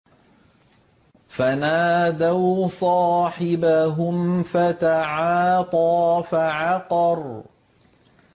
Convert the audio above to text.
فَنَادَوْا صَاحِبَهُمْ فَتَعَاطَىٰ فَعَقَرَ